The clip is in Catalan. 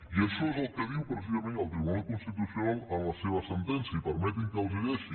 i això és el que diu precisament el tribunal constitucional en la seva sentència i permetin me que els la llegeixi